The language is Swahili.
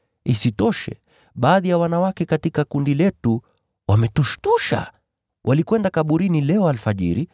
Isitoshe, baadhi ya wanawake katika kundi letu wametushtusha. Walikwenda kaburini leo alfajiri,